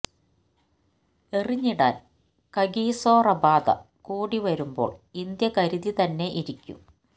എറിഞ്ഞിടാന് Kagiso Rabada കൂടി വരുമ്പോള് India കരുതി തന്നെ ഇരിക്കും